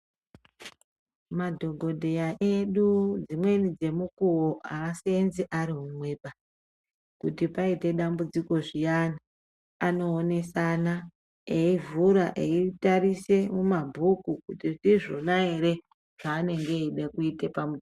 Madhokodheya edu dzimweni dzemukuwo aaseenzi ari umweba, kuti paite dambudziko zviyani vanoonesana eivhura eitarise mumabhuku kuti ndizvona ere zvaanenge eida kuite pamunhu.